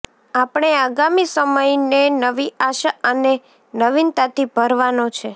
આપણે આગામી સમયને નવી આશા અને નવીનતાથી ભરવાનો છે